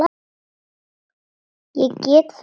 Ég get það ekki